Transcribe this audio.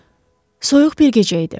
Soyuq bir gecə idi.